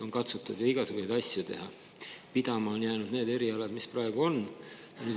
On katsutud igasuguseid asju teha, aga pidama on jäänud need erialad, mis praegu on.